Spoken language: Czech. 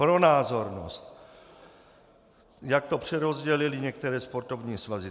Pro názornost, jak to přerozdělily některé sportovní svazy.